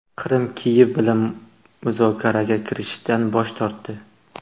Qrim Kiyev bilan muzokaraga kirishishdan bosh tortdi.